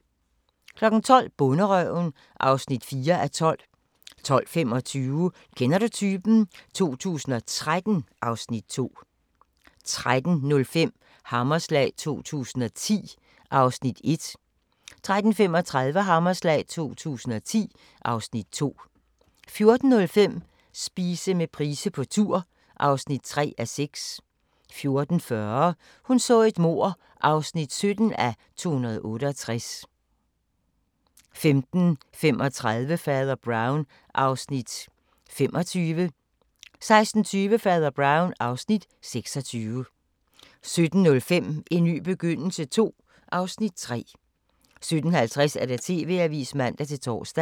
12:00: Bonderøven (4:12) 12:25: Kender du typen? 2013 (Afs. 2) 13:05: Hammerslag 2010 (Afs. 1) 13:35: Hammerslag 2010 (Afs. 2) 14:05: Spise med Price på tur (3:6) 14:40: Hun så et mord (17:268) 15:35: Fader Brown (Afs. 25) 16:20: Fader Brown (Afs. 26) 17:05: En ny begyndelse II (Afs. 3) 17:50: TV-avisen (man-tor)